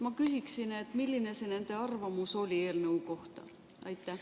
Ma küsin, et milline nende arvamus eelnõu kohta oli.